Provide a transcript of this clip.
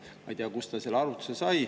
Ma ei tea, kust ta selle arvutuse sai.